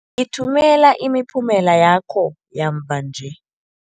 Ngithumela imiphumela yakho yamva nje.